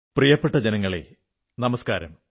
പ്രിയപ്പെട്ട ജനങ്ങളേ നമസ്കാരം